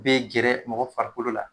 I be gɛrɛ mɔgɔ farikolo la